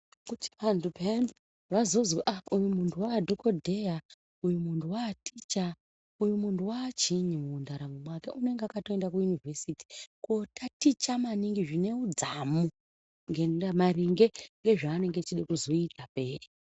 Kuti vantu pheyani vazozi ah uyu muntu uyu waadhokodheya, uyu muntu waaticha uyu muntu waachiinyi mundaramo mwake unenge akatoenda kuinivhesiti kootaticha maningi zvine udzamu maringe ngezvaanenge echida kuzoita pheya.